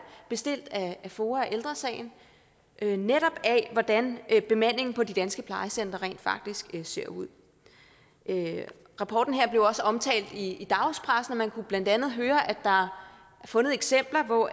bestilt af foa og ældre sagen netop af hvordan bemandingen på de danske plejecentre rent faktisk ser ud rapporten her blev også omtalt i dagspressen man kunne blandt andet høre at der er fundet eksempler hvor